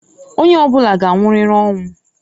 Onye ọbụna g'anwụrịrị ọnwụ.